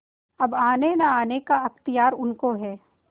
अब आनेनआने का अख्तियार उनको है